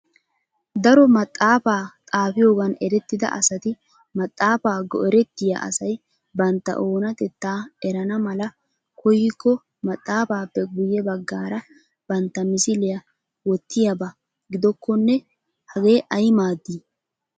Daro maxaafa xaafiyoogan erettida asati maxaafa go"ertiya asay bantta oonatetta erana mala koyyiko maxxaafappe guyye baggaara bantta misiliya wottiyaaba gidokone hage ay maadi?